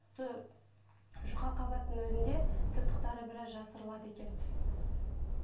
сол жұқа қабаттың өзінде тыртықтары біраз жасырылады екен